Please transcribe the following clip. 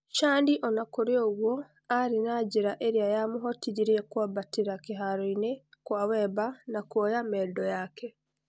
Shani ona-kurĩ o-ũgwo arĩ na njĩra njega iria yamũhotithirie kũambatira kĩharoinĩ kwa Wemba na kuoya mendo yake.